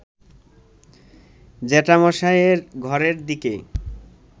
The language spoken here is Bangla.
জ্যাঠামশায়ের ঘরের দিকে